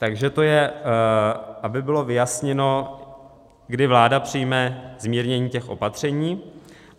Takže to je, aby bylo vyjasněno, kdy vláda přijme zmírnění těch opatření.